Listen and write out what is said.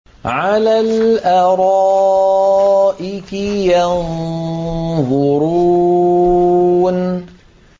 عَلَى الْأَرَائِكِ يَنظُرُونَ